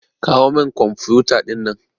Kawo min kwamfuta ɗinnan.